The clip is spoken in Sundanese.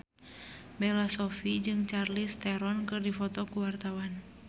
Bella Shofie jeung Charlize Theron keur dipoto ku wartawan